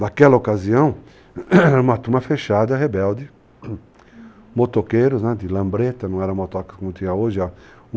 Naquela ocasião, era uma turma fechada, rebelde, motoqueiros, de lambreta, não era motoca como tinha hoje.